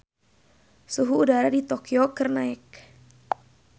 Suhu udara di Tokyo keur naek